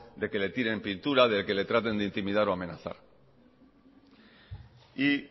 de que le tiren pintura de que le traten de intimidar o amenazar